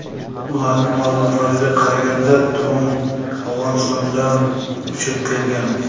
Ularning ma’lumotlariga qaraganda, dron Afg‘onistondan uchib kelgan.